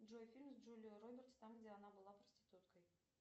джой фильм с джулией робертс там где она была проституткой